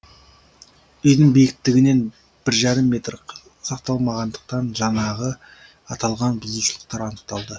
үйдің биіктігінен бір жарым метр сақталмағандықтан жаңағы аталған бұзушылықтар анықталды